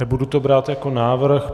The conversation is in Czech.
Nebudu to brát jako návrh.